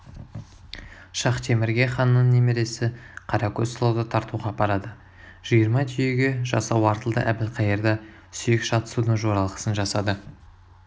шахтемірге ханның немересі қаракөз сұлуды тартуға апарады жиырма түйеге жасау артылды әбілқайыр да сүйек шатысудың жоралғысын жасады